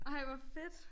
Ej hvor fedt!